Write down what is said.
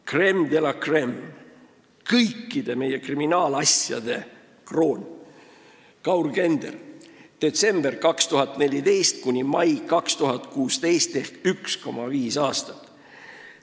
Crème de la crème, kõikide meie kriminaalasjade kroon Kaur Kender: detsembrist 2014 kuni maini 2016 ehk üks aasta ja viis kuud.